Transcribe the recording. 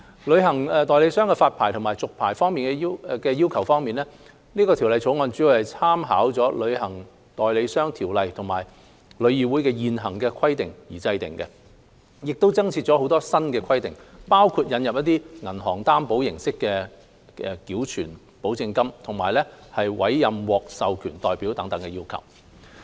旅行代理商的發牌和續牌要求方面，《條例草案》主要參考《旅行代理商條例》和旅議會的現行規定而制定，亦增設若干新規定，包括引入以銀行擔保形式繳存保證金和委任獲授權代表等要求。